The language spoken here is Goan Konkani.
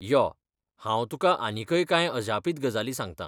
यो, हांव तुका आनीकय कांय अजापीत गजाली सांगतां.